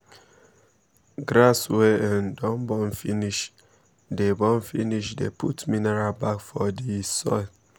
grass wey um don burn finish dey burn finish dey put minerial back for the um soil